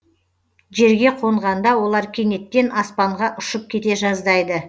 жерге қонғанда олар кенеттен аспанға ұшып кете жаздайды